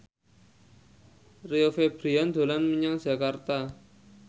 Rio Febrian dolan menyang Jakarta